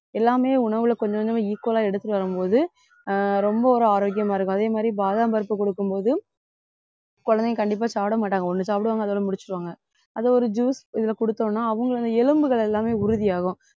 எல்லாமே உணவுல கொஞ்சம் கொஞ்சமா equal ஆ எடுத்துட்டு வரும்போது ஆஹ் ரொம்ப ஒரு ஆரோக்கியமா இருக்கும் அதே மாதிரி பாதாம் பருப்பு கொடுக்கும் போது குழந்தைங்க கண்டிப்பா சாப்பிட மாட்டாங்க ஒண்ணு சாப்பிடுவாங்க அதோட முடிச்சிடுவாங்க அதை ஒரு juice இதுல கொடுத்தோம்னா அவங்களோட எலும்புகள் எல்லாமே உறுதியாகும்